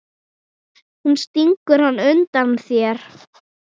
Nú stingur hann undan þér!